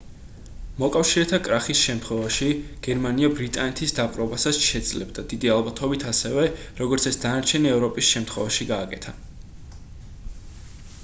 მოკავშირეთა კრახის შემთხვევაში გერმანია ბრიტანეთის დაპყრობასაც შეძლებდა დიდი ალბათობით ისევე როგორც ეს დანარჩენი ევროპის შემთხვევაში გააკეთა